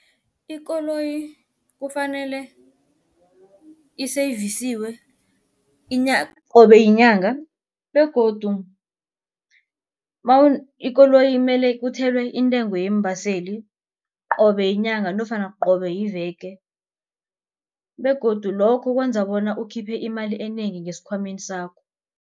Ikoloyi kufanele isevisiwe qobe yinyanga begodu ikoloyi mele kuthelwe intengo yeembaseli qobe yinyanga nofana qobe yiveke begodu lokho kwenza bona ukhiphe imali enengi ngesikhwameni sakho.